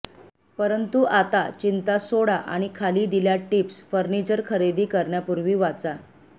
परंतु आता चिंता सोडा आणि खाली दिल्या टिप्स फर्निचर खरेदी करण्यापूर्वी वाचा